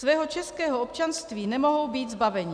Svého českého občanství nemohou být zbaveni.